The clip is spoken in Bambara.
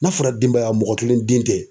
N'a fɔra denbaya mɔgɔ kelen den tɛ.